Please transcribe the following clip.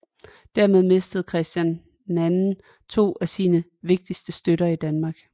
Dermed mistede Christian II to af sine vigtigste støtter i Danmark